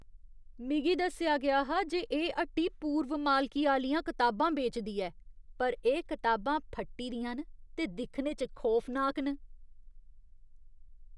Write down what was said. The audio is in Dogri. मिगी दस्सेआ गेआ हा जे एह् हट्टी पूर्व मालकी आह्लियां कताबां बेचदी ऐ पर एह् कताबां फट्टी दियां न ते दिक्खने च खौफनाक न।